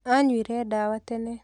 Anyuire ndawa tene.